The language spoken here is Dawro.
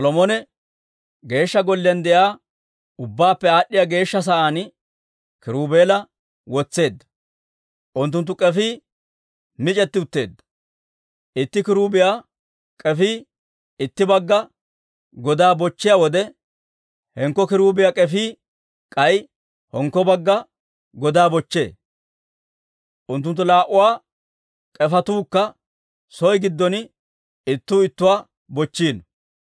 Solomone Geeshsha Golliyaan de'iyaa ubbaappe Aad'd'iyaa Geeshsha Sa'aan kiruubela wotseedda. Unttunttu k'efii mic'etti utteedda; itti kiruubiyaa k'efii itti bagga godaa bochchiyaa wode, hinkko kiruubiyaa k'efii k'ay hinkko bagga godaa bochchee; unttunttu laa"uwaa k'efetuukka soo giddon ittuu ittuwaa bochchiino.